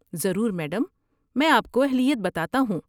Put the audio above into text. ضرور، میڈم! میں آپ کو اہلیت بتاتا ہوں؟